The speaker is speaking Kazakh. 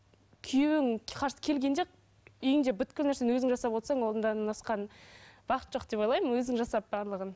күйеуің келгенде үйіңде нәрсені өзің жасап отырсаң одан асқан бақыт жоқ деп ойлаймын өзің жасап барлығын